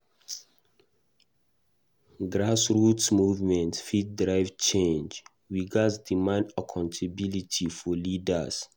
Grassroots movements fit drive change; we gatz demand accountability from leaders.